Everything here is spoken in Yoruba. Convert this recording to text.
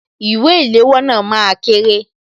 Ìwé ìléwọ́ náà máa kéré